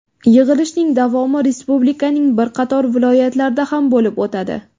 Yig‘ilishning davomi Respublikaning bir qator viloyatlarida ham bo‘lib o‘tadi.